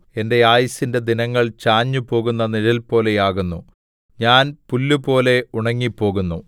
എന്റെ ആയുസ്സിന്റെ ദിനങ്ങള്‍ ചാഞ്ഞുപോകുന്ന നിഴൽപോലെയാകുന്നു ഞാൻ പുല്ലുപോലെ ഉണങ്ങിപ്പോകുന്നു